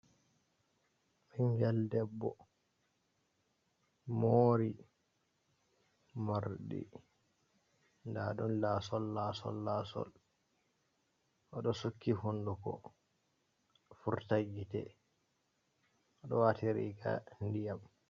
Ingel debbo mori morɗi ndaɗun, laasol laasol laasol, oɗo sukki hunduko furta gite, o ɗo wati riga diyam.